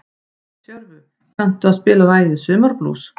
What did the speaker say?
Tjörfi, kanntu að spila lagið „Sumarblús“?